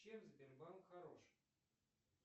чем сбербанк хорош